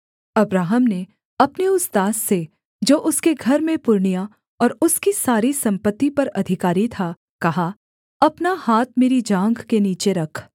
Abraham ने अपने उस दास से जो उसके घर में पुरनिया और उसकी सारी सम्पत्ति पर अधिकारी था कहा अपना हाथ मेरी जाँघ के नीचे रख